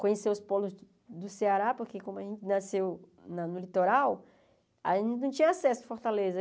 Conhecer os polos do Ceará, porque como a gente nasceu na no litoral, a gente não tinha acesso à Fortaleza.